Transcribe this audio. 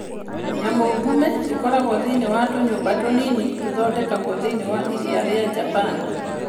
Nyamũngumĩ icio ikoragwo thĩinĩ wa tũnyũmba tũnini tũthondeketwo thĩinĩ wa Iria rĩa Japan.